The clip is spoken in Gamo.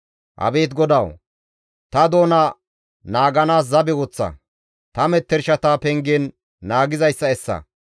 Abeet GODAWU! Ta doona naaganaas zabe woththa; ta mettershata pengen naagizayssa essa.